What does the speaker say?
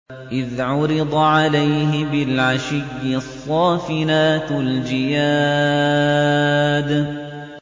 إِذْ عُرِضَ عَلَيْهِ بِالْعَشِيِّ الصَّافِنَاتُ الْجِيَادُ